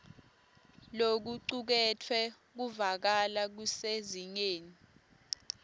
lokucuketfwe kuvakala kusezingeni